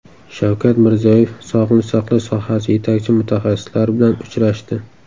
Shavkat Mirziyoyev sog‘liqni saqlash sohasi yetakchi mutaxassislari bilan uchrashdi.